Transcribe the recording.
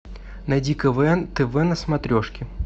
найди квн тв на смотрешке